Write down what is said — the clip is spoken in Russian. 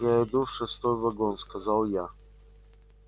я иду в шестой вагон сказал я